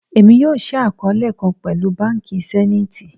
Emi yoo ṣii akọọlẹ kan pẹlu banki Zenith